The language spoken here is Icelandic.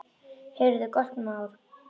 Heyrðu, gott mál.